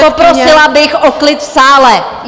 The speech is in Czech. A poprosila bych o klid v sále!